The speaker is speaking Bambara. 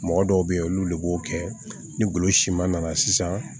Mɔgɔ dɔw be yen olu de b'o kɛ ni golo siman nana sisan